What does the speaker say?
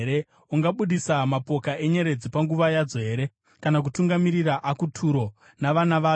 Ungabudisa mapoka enyeredzi panguva yadzo here, kana kutungamirira Akuturo navana vayo?